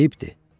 Eyibdir.